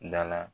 Da la